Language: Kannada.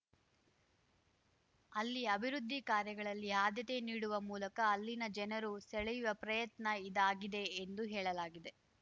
ಅಲ್ಲಿ ಅಭಿವೃದ್ಧಿ ಕಾರ್ಯಗಳಲ್ಲಿ ಆದ್ಯತೆ ನೀಡುವ ಮೂಲಕ ಅಲ್ಲಿನ ಜನರು ಸೆಳೆಯುವ ಪ್ರಯತ್ನ ಇದಾಗಿದೆ ಎಂದು ಹೇಳಲಾಗಿದೆ